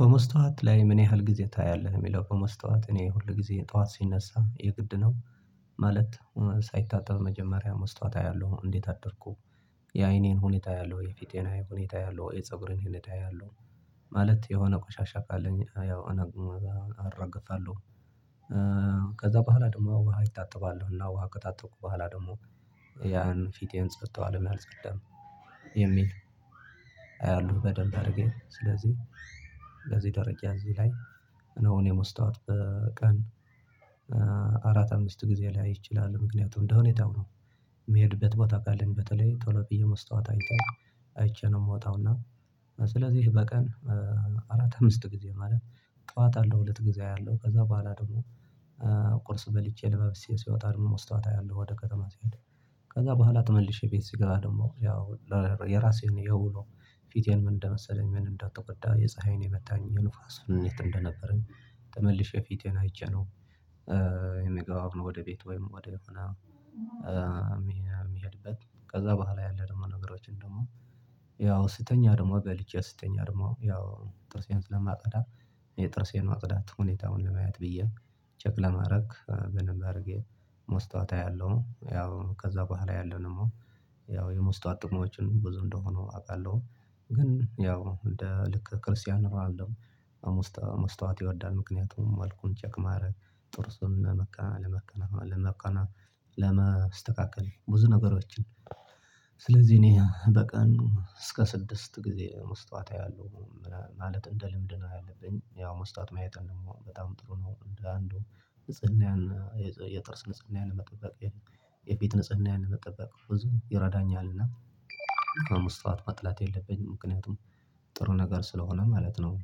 በመስታወት ላይ ምን ያህል ጊዜ ታያለህ? የሚለው በመስታወት እኔ ሁልጊዜ የጠዋት ሲነሳ የግድ ነው። ማለት ሳይታጠብ መጀመሪያ መስታወት አያለሁ እንዴት አደርኩ? የአይኔን ሁኔታ አያለሁ የፊቴን ሁኔቴ አያለው የፀጉሬን ሁኔታ ያለው ማለት የሆነ ቆሻሻ ካለኝ ያው አራግፋለሁ። ከዛ በኋላ ደግሞ ውሃ እታጠባለሁ እና ውሃ ከታጠብኩ በኋላ ደግሞ ያን ፊቴን ጽጥቷል መልስ ቅድም የሚል አያለሁ በደንብ አድርጌ ስለዚህ ደረቂ እዚህ ላይ። እነሆ እኔ መስታወት በቀን አራት አምስት ጊዜ ላይ እችላለሁ ምክንያቱም እንደ ሁኔታው ነው። የሚሄድበት ቦታ ካለኝ በተለይ ቶሎ ብዬ መስታወት አይተን አይቼ ነው የምወጣው። እና ስለዚህ በቀን አራት አምስት ጊዜ ማለት ጠዋት አለው ሁለት ጊዜ አለው ከዛ በኋላ ደግሞ ቁርስ በልቼ ለባብሼ ሲወጣ ደግሞ መስታወት አያለሁ ወደ ከተማ ሲሄድ። ከዛ በኋላ ተመልሼ ቤት ሲገባ ደግሞ ያው የራሴን የውሎ ፊቴን ምን እንደመሰለኝ ምን እንዳትወዳ የፀሀይን የመታኝ የኑፋስ እኔ እንደነበረኝ ተመልሼ ፊቴን አይቼ ነው። የምገባው ወደ ቤት ወይም ወደ ሆነ የሚሄድበት ከዛ በኋላ ያለ ደግሞ ነገሮችን ደግሞ ያው ስተኛ ደግሞ በልቼ ስተኛ ደግሞ ያው ጥርሴን ስለማፀዳ። የጥርሴን ማጽዳት ሁኔታውን ለማየት ብዬ ቸክ ለማድረግ በደንብ አድርጌ መስታወት አያለሁም ያው ከዛ በኋላ ያለው ደግሞ ያው የመስተዋት ጥቅሞችን ብዙ እንደሆነ አውቃለሁ። ግን ያው እንደ ልክ ክርስቲያን እንላለን አሁን መስታወት ይወዳል ምክንያቱም መልኩን ቼክ ማድረግ ጥርሱን ለመቀናቀን ለመቀናቀን ለማስተካከል ብዙ ነገሮችን። ስለዚህ እኔ በቀኑ እስከ ስድስት ጊዜ መስታወት አያለሁ። ማለት እንደ ልምድ ነው ያለብኝ ያው መስጠት ማየትን ደግሞ በጣም ጥሩ ነው እንደ እንደው ንጽህናውያን የጥርስ ንጽህናየን መጠበቅ የፊት ንጽህናየን መጠበቅ ብዙ ይረዳኛልና። ከመስታወት መጥላት የለብኝም ምክንያቱም ጥሩ ነገር ስለሆነ ማለት ነው።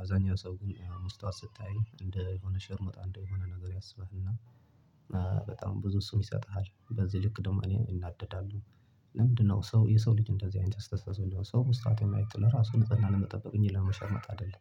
አብዛኛው ሰው ግን መስታወት ስታይ እንደ የሆነ ሸርሙጣ እንደ የሆነ ነገር ያስባልና። በጣም ብዙ እሱን ይሰጥሃል በዚህ ልክ ደግሞ እኔ እናደዳለሁ። ለምንድነው ሰው የሰው ልጅ እንደዚህ አይነት አስተሳሰብ የሆነ ሰው መስራት የማየት ለራሱ ንጽህናን መጠበቅ እንጂ ለመሸርሞጥ አይደለም